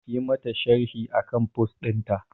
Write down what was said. Yi mata sharhi akan post ɗinta